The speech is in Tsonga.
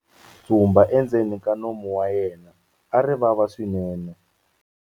Tshumba endzeni ka nomu wa yena a ri vava swinene.